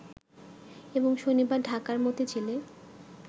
এবং শনিবার ঢাকার মতিঝিলে